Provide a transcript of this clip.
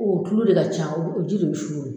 O tulu de ka ca o ji de suru